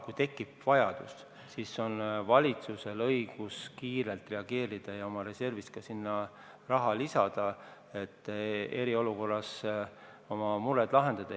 Kui tekib vajadus, siis on valitsusel õigus kiirelt reageerida ja oma reservist ka sinna raha lisada, et eriolukorras need mured lahendada.